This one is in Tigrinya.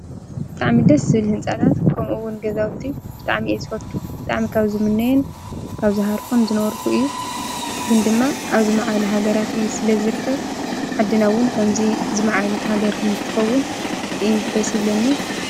ተዕሚደስ ል ሕንፃላት ክከምኡውን ገዛውቱ ጥዓሚእት ዝፈቱ ጥኣሚ ካ ኣብ ዝሙነይን ታብዝሃርፎን ዝነበርኩ እዩ ግን ድማ ኣብዝ መዓል ሃገራትእዩ ስለ ዘርከብ ዓድናውን ከምዙይ ዝመዓል እት ሃገር ክም ኽትፈውን ደስ ብለኒ